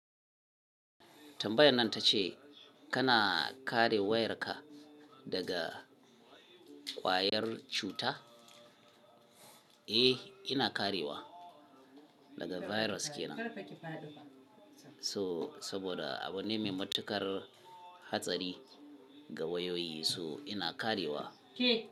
Tambayar nan ta ce kana kare wayarka daga ƙwayar cuta? Eh, kina karewa daga virus kenan. So saboda abu ne mai matuƙar hatsari ga wayoyi, so ina karewa.